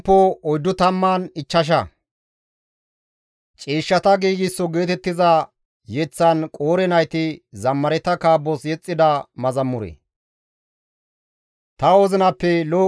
Ta wozinappe lo7o qofay pulttees; ta giigsida ginxoza kawoza sissana; ta inxarsayka eranchcha xaafe bi7ire mala.